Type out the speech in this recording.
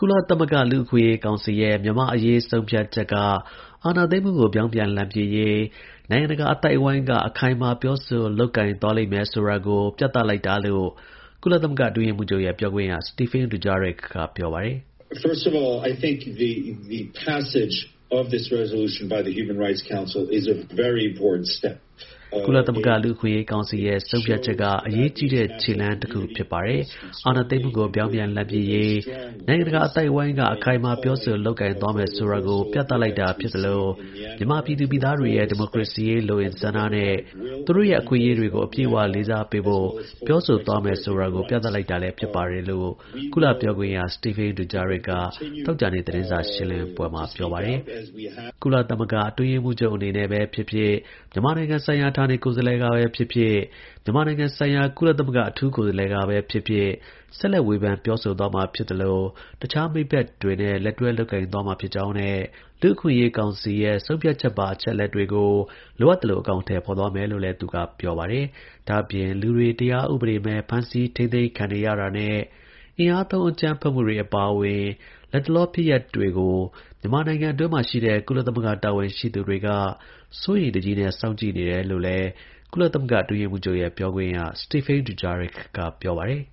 လသမဂ္ဂ လူ့အခွင့်အရေး ကောင်စီရဲ့ မြန်မာ့အရေး ဆုံးဖြတ်ချက်က အာဏာသိမ်းမှုကို ပြောင်းပြန်လှန်ပစ်ရေး နိုင်ငံတကာ အသိုက်အဝန်းက အခိုင်အမာ ပြောဆိုလုပ်ကိုင်လိမ့်မယ်ဆိုတာကို ပြသလိုက်တာလို့ ကုလသမဂ္ဂ အတွင်းရေးမှူးချုပ်ရဲ့ ပြောခွင့်ရ Stephane Dujarric က ပြောပါတယ်။ “ကုလသမဂ္ဂ လူ့အခွင့်အရေးကောင်စီရဲ့ ဆုံးဖြတ်ချက်က အရေးကြီးတဲ့ ခြေလှမ်း တစ်ရပ် ဖြစ်ပါတယ်။ အာဏာသိမ်းမှုကို ပြောင်းပြန် လှန်ပစ် ရေး နိုင်ငံတကာ အသိုက်အဝန်းက အခိုင်အမာ ပြောဆိုလုပ်ကိုင်သွားမယ်ဆိုတာကို ပြသလိုက်တာ ဖြစ်သလို မြန်မာပြည်သူ ပြည်သားတွေရဲ့ ဒီမိုကရေစီရေး လိုအင်ဆန္ဒနဲ့ သူတို့ရဲ့ အခွင့်အရေးတွေကို အပြည့်အဝ လေးစားဖို့ ပြောဆိုသွားမယ်ဆိုတာကို ပြသလိုက်တာလည်း ဖြစ်ပါတယ်” လို့ ကုလ ပြောခွင့်ရ Stephane Dujarric က သောကြာနေ့ သတင်းစာ ရှင်းလင်းပွဲမှာ ပြောပါတယ်။ ကုလသမဂ္ဂ အတွင်းရေးမှူးချုပ် အနေနဲ့ပဲ ဖြစ်ဖြစ်၊ မြန်မာနိုင်ငံဆိုင်ရာ ဌာနေ ကိုယ်စားလှယ်ကပဲ ဖြစ်ဖြစ်၊ မြန်မာနိုင်ငံဆိုင်ရာ ကုလအထူး ကိုယ်စားလှယ်ကပဲ ဖြစ်ဖြစ် ဆက်လက် ဝေဖန် ပြောဆိုသွားမှာ ဖြစ်သလို တခြား မိတ်ဖက်တွေနဲ့ လက်တွဲ လုပ်ကိုင်သွားမှာ ဖြစ်ကြောင်းနဲ့ လူ့အခွင့်အရေး ကောင်စီရဲ့ ဆုံးဖြတ်ချက်ပါ အချက်အလက်တွေကို လိုအပ်သလို အကောင်အထည် ဖော်သွားမယ်လို့လည်း သူကပြောပါတယ်။ ဒါ့အပြင်၊ လူတွေ တရားဥပဒေမဲ့ ဖမ်းဆီးထိန်းသိမ်းခံနေရတာနဲ့ အင်အားသုံး အကြမ်းဖက်မှုတွေ အပါအဝင် လက်တလော ဖြစ်ရပ်တွေကို မြန်မာနိုင်ငံအတွင်းမှာ ရှိတဲ့ ကုလသမဂ္ဂ တာဝန်ရှိသူတွေက စိုးရိမ်တကြီးနဲ့ စောင့်ကြည့် နေတယ်လို့ ကုလအတွင်းရေးမှူးချုပ်ရဲ့ ပြောခွင့်ရ Stephane Dujarric က ပြောပါတယ်